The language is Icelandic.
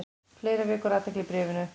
Fleira vekur athygli í bréfinu.